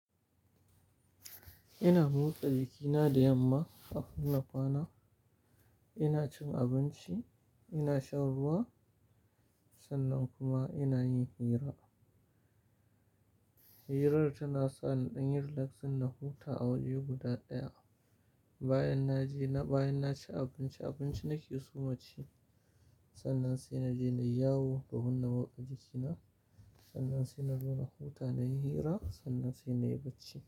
Ina motsa jikina da yamma kafin na kwana, ina cin abinci, ina shan ruwa, sannan kuma ina yin hira. Hirar tana sa ni inyi relaxing, na huta a waje guda ɗaya. Bayan na je na, bayan na ci abinci, abinci nake so maci, sannan sai na je na yawo domin na motsa jikina, sannan sai na zo na huta, na yi hira sannan sai na yi bacci.